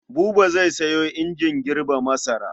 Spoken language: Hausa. Buba zai sayo injin girbe masara.